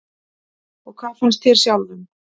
Og hvað fannst þér sjálfum?